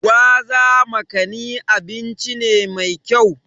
Gwaza/Makani abinci ne mai kyau.